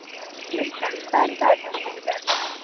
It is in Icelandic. Glytta, hvað er í dagatalinu mínu í dag?